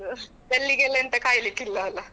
bell ಗೆ ಎಲ್ಲ ಕಾಯಲಿಕ್ಕೆ ಇಲ್ಲ ಅಲಾ.